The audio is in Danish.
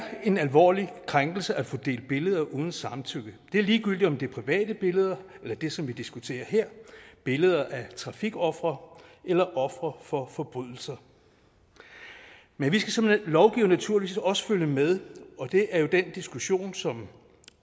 en alvorlig krænkelse at få delt billeder uden samtykke og det er ligegyldigt om det er private billeder eller det som vi diskuterer her er billeder af trafikofre eller ofre for forbrydelser men vi skal som lovgivere naturligvis også følge med og det er jo den diskussion som